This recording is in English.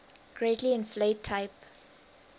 greatly inflate type